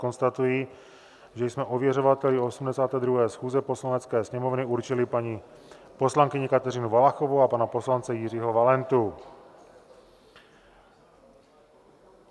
Konstatuji, že jsme ověřovateli 82. schůze Poslanecké sněmovny určili paní poslankyni Kateřinu Valachovou a pana poslance Jiřího Valentu.